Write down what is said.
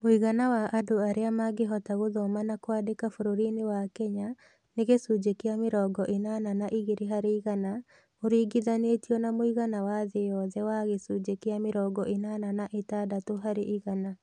Mũigana wa andũ arĩa mangĩhota gũthoma na kwandĩka bũrũri-inĩ wa Kenya nĩ gĩcunjĩ kĩa mĩrongo ĩnana na igĩrĩ harĩ igana, ũringithanio na mũigana wa thĩ yothe wa gĩcunjĩ kĩa mĩrongo ĩnana na ĩtandatũ harĩ igana.